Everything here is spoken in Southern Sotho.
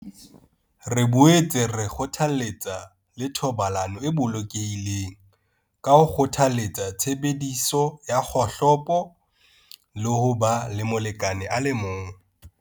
Re boetse re kgothaletsa le thobalano e bolokehileng ka ho kgothaletsa tshebediso ya kgohlopo le ho ba le molekane a le mong.